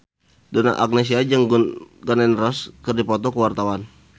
Donna Agnesia jeung Gun N Roses keur dipoto ku wartawan